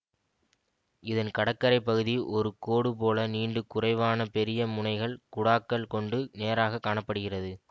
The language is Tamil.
இதன் கடக்கரைப் பகுதி ஒரு கோடு போல நீண்டு குறைவான பெரிய முனைகள் குடாக்கள் கொண்டு நேராக காண படுகிறது